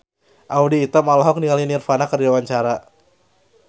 Audy Item olohok ningali Nirvana keur diwawancara